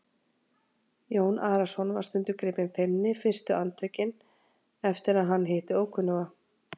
Jón Arason var stundum gripinn feimni fyrstu andartökin eftir að hann hitti ókunnuga.